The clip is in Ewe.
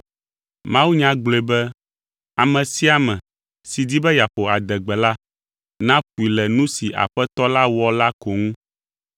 Mawunya gblɔe be, “Ame sia ame si di be yeaƒo adegbe la naƒoe le nu si Aƒetɔ la wɔ la ko ŋu.”